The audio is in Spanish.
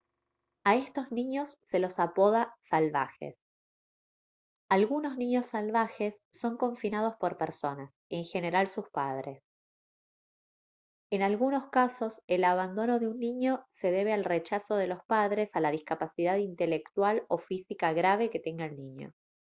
a estos niños se los apoda «salvajes». algunos niños salvajes son confinados por personas en general sus padres. en algunos casos el abandono de un niño se debe al rechazo de los padres a la discapacidad intelectual o física grave que tenga el niño